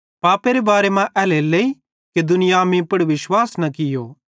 पापेरे बारे मां एल्हेरेलेइ कि दुनियां मीं पुड़ विश्वास न कियो